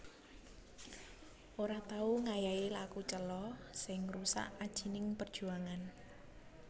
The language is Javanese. Ora tau ngayahi laku cela sing ngrusak ajining perjuangan